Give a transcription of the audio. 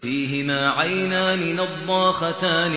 فِيهِمَا عَيْنَانِ نَضَّاخَتَانِ